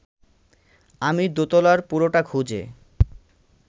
আমি দোতলার পুরোটা খুঁজে